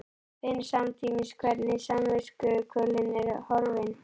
Finn samtímis hvernig samviskukvölin er horfin.